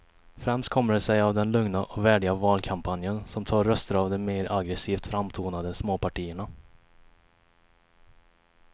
Främst kommer det sig av den lugna och värdiga valkampanjen som tar röster av de mer aggresivt framtonade småpartierna.